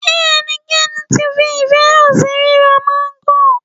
Ṣé ẹnikẹ́ni tí fi ìfẹ́ hàn sí ríra máńgò?